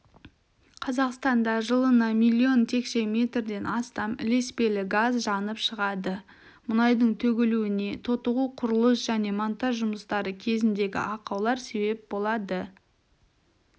қазақстанда жылына миллион текше метрден астам ілеспелі газ жанып шығады мұнайдың төгілуіне тотығу құрылыс және монтаж жұмыстары кезіндегі ақаулар себеп болады